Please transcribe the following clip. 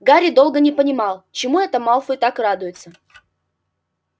гарри долго не понимал чему это малфой так радуется